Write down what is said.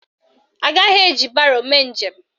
Agaghị eji baro mee njem